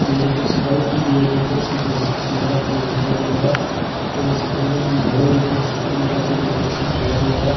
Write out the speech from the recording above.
यह कुछ सजावट की गई है डेकोरेशन से ऐसे कुछ भीं दिखाई दे रहा हैं ऊपर ऐसे बिल्डिंग ऐसे कुछ लगाके डेकोरेशन सजाया गया हैं।